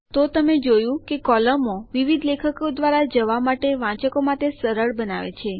તો તમે જોયું કે કોલમો વિવિધ લેખો દ્વારા જવા માટે વાંચકો માટે સરળ બનાવે છે